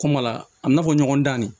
Kɔmala a bɛna fɔ ɲɔgɔn dan de